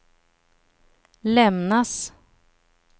lämnas